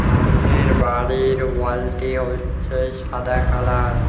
সামনের বাড়ির ওয়ালটি হচ্ছে সাদা কালার ।